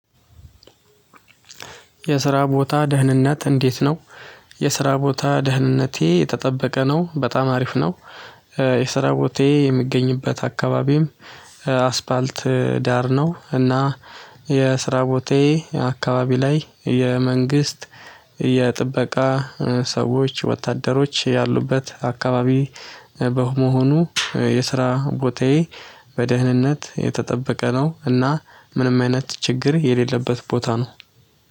የስራ ቦታ ደህንነት እንዴት ነው? የስራ ቦታ ደህንነቴ የተጠበቀ ነው። በጣም አሪፍ ነው። የስራ ቦታዬ የሚገኝበት አካባቢም አስፋልት ዳር ነው። እና የስራ ቦታዬ አካባቢ ላይ የመንግስት የጥበቃ ሰዎች፣ ወታደሮች ያሉበት አካባቢ በመሆኑ የስራ ቦታዬ በደህንነት የተጠበቀ ነው። እና ምንም አይነት ችግር የሌለበት ቦታ ነው።